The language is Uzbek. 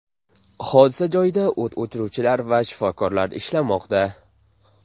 Hodisa joyida o‘t o‘chiruvchilar va shifokorlar ishlamoqda.